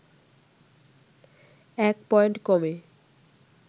১ point কমে